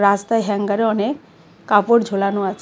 রাস্তায় হ্যাঙ্গারে অনেক কাপড় ঝোলানো আছে .